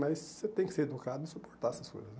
Mas você tem que ser educado e suportar essas coisas, né?